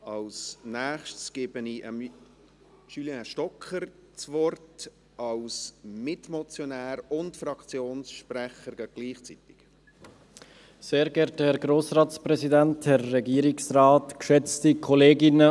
Als Nächstes gebe ich Julien Stocker das Wort, als Mitmotionär und gleichzeitig als Fraktionssprecher.